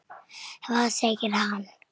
Hvað segir hann?